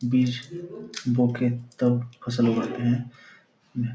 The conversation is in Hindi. बीज बो के तब फसल उगाते हैं।